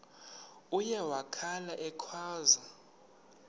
uye wakhala ekhwaza